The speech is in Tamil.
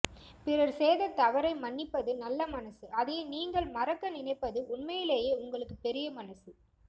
பிறர் செய்த தவறை மன்னிப்பது நல்ல மனசு அதையே நீங்கள் மறக்க நினைப்பது உண்மையிலேயே உங்களுக்கு பெரிய மனசு